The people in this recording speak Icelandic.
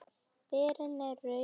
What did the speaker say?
Berin eru rauð eða gul.